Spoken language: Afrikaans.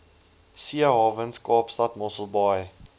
seehawens kaapstad mosselbaai